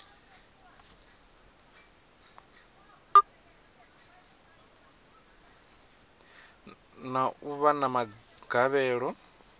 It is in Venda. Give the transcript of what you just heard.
na u vha na magavhelo